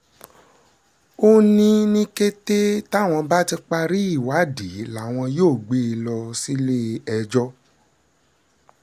ó ní ní kété táwọn bá ti parí ìwádìí làwọn yóò gbé e lọ sílé-ẹjọ́